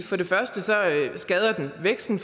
for det første skader væksten